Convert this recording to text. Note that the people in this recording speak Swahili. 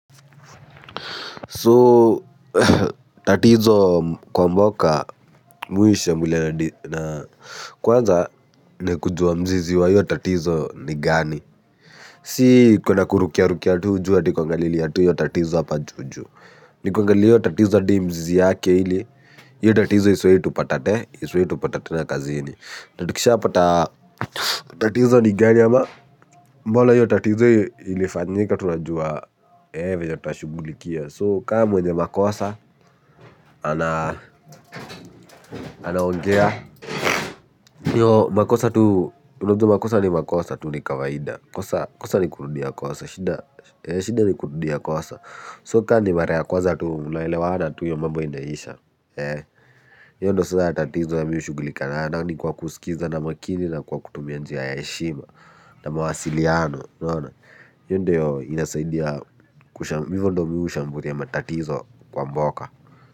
So tatizo kwa mboka mimi huishambulia na kwanza ni kujua mzizi wa hiyo tatizo ni gani. Si kuna kurukia rukia tu juu ati kuangalilia hiyo tatizo hapa juu juu. Ni kuangalilia hiyo tatizo hadi mzizi yake ili. Hiyo tatizo isiwahi tupata te. Isiwahi tupata tena kazini tukisha pata tatizo ni gani ama mbona hiyo tatizo ilifanyika tunajua ee venye tuta shugulikia. So kama mwenye makosa ana anaongea hiyo makosa tu unajua makosa ni makosa tu ni kawaida kosa ni kurudia kosa shida ni kurudia kosa so kama ni mara kwanza tu mna elewana tu hiyo mambo inaisha hiyo ndo sasa tatizo ya mimi hushugulika nayo na ni kwa kusikiza na makini na kwa kutumia njia ya heshima na mawasiliano unaona hio ndo inasaidia hivyo ndo mimi hushambulia matatizo kwa mboka.